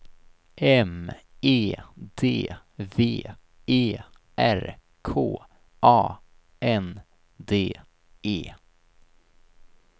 M E D V E R K A N D E